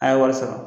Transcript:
A' ye wari sɔrɔ